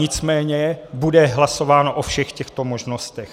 Nicméně bude hlasováno o všech těchto možnostech.